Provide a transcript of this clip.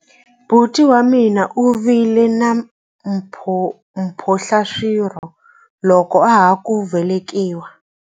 Buti wa mina u vile na mphohlaswirho loko a ha ku velekiwa.